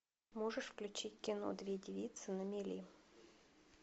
можешь включить кино две девицы на мели